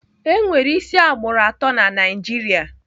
Enwere isi agbụrụ atọ na Naijiria.